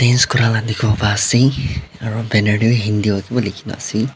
ase banner te hindi para likhi nu ase.